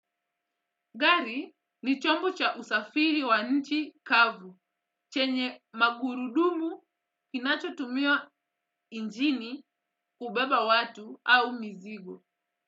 Gari ni chombo cha usafiri wa nchi kavu chenye magurudumu inachotumiwa nchini kubeba watu au mizigo.